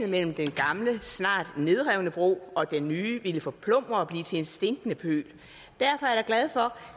mellem den gamle snart nedrevne bro og den nye ville forplumre og blive til en stinkende pøl derfor er glad for